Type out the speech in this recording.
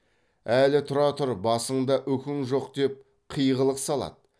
әлі тұра тұр басыңда үкің жоқ деп қиғылық салады